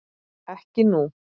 Ekki nú.